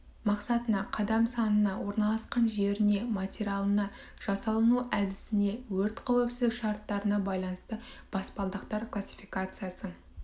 мақсатына қадам санына орналасқан жеріне материалына жасалыну әдісіне өрт қауіпсіздік шарттарына байланысты баспалдақтар классификациясы